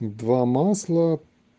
два масло